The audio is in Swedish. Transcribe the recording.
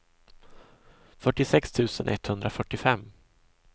fyrtiosex tusen etthundrafyrtiofem